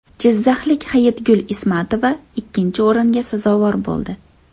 Jizzaxlik Hayitgul Ismatova ikkinchi o‘ringa sazovor bo‘ldi.